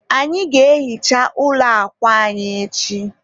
anyị ga-ehicha ụlọ akwa anyị echi